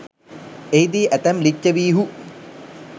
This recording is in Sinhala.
එහිදී ඇතැම් ලිච්ඡවීහු